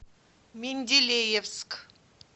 менделеевск